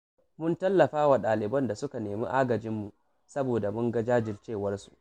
Mun tallafa wa ɗaliban da suka nemi agajinmu, saboda mun ga jajircewarsu